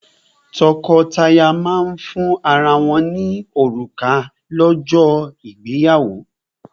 Tọ́kọtaya máa ń fún ara wọ́n ní òrùka lọ́jọ́ ìgbéyàwó.